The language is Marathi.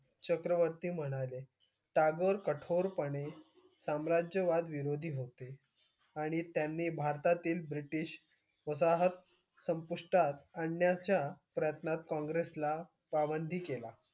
चक्रवर्ती म्हणाले टागोर कठोरपणे साम्राज्यवाद विरोधी होते आणि त्यांनी भारतातील ब्रिटिश वसाहत संपुष्टात आणण्याच्या प्रयत्नांत काँग्रेसला पाबंदी केला.